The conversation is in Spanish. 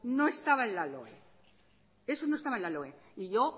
no estaba en la loe eso no estaba en la loe y yo